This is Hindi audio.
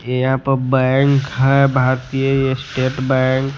ये यहां पे बैंक है भारतीय स्टेट बैंक ।